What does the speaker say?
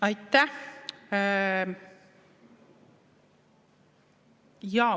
Aitäh!